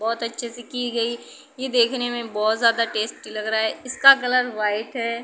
बहोत अच्छे से की गई। ये देखने में बहोत ज्यादा टेस्टी लग रहा है। इसका कलर व्हाइट है।